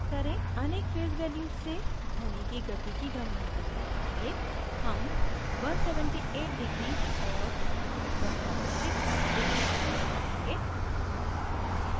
अनेक phase values से ध्वनि की गति की गणना करने के लिए हम 178deg और 106deg उपयोग करेंगे